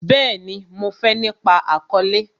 Bẹẹni, mo fé nípa àkọ́lẹ́